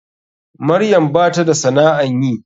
Maryam bata da sana'an yi.